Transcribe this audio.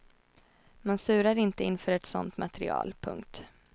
Man surar inte inför ett sånt material. punkt